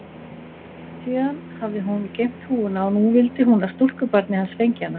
Síðan hafði hún geymt húfuna og nú vildi hún að stúlkubarnið hans fengi hana.